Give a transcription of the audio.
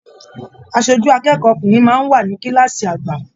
Aṣojú akẹ́kọ̀ọ́ ọkùnrin máa n wà ní kilaasi àgbà.